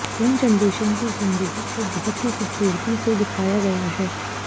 young generation की जिंदगी को बहुत ही खूबसूरती से दिखाया गया है